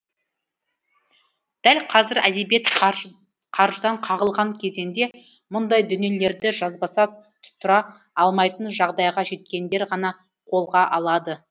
дәл қазір әдебиет қаржыдан қағылған кезеңде мұндай дүниелерді жазбаса тұра алмайтын жағдайға жеткендер ғана қолға алады